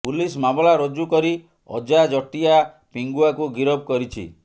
police ମାମଲା ରୁଜୁ କରି ଅଜା ଜଟିଆ ପିଙ୍ଗୁଆକୁ ଗିରଫ କରିଛି